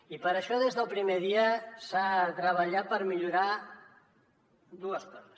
i per això des del primer dia s’ha de treballar per millorar dues coses